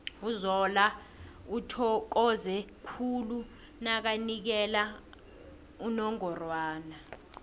uzola uthokoze khulu nakanikela unongorwana